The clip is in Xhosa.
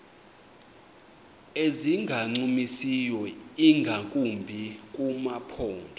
ezingancumisiyo ingakumbi kumaphondo